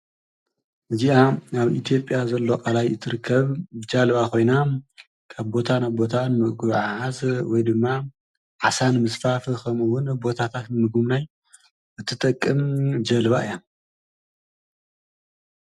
እዚኣ ኣብ ኢ ትዮጽያ ዘሎ ቃላይ እትርከብ ጃልባ ኮይና ካብ ቦታ ናብ ቦታ ንምጉዕዓዝ ወይ ድማ ዓሳ ንምዝፋፍ ከምኡ እዉን ቦታታት ንምጉብናይ ትጠቅም ጀልባ እያ።